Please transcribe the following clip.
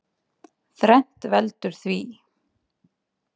Þrennt veldur því.